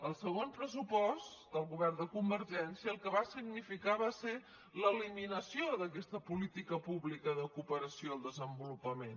el segon pressupost del govern de convergència el que va significar va ser l’eliminació d’aquesta política pública de cooperació al desenvolupament